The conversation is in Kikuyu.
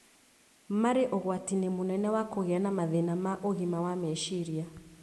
marĩ ũgwati-inĩ mũnene wa kũgĩa na mathĩna ma ũgima wa meciria.